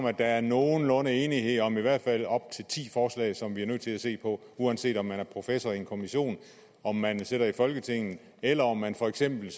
at der er nogenlunde enighed om i hvert fald op til ti forslag som vi er nødt til at se på uanset om man er professor i en kommission om man sidder i folketinget eller om man for eksempel